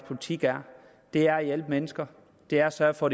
politik er det er at hjælpe mennesker det er at sørge for